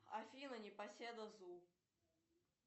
афина непоседа зу